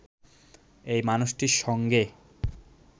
এই মানুষটির সঙ্গে